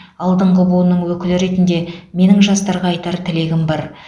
алдыңғы буынның өкілі ретінде менің жастарға айтар тілегім бар